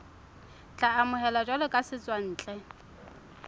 tla amohelwa jwalo ka setswantle